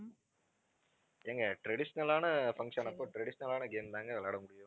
ஏங்க traditional ஆன function அப்போ traditional ஆன game தாங்க விளையாட முடியும்.